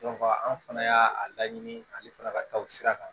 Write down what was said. an fana y'a a laɲini ani fana ka taa o sira kan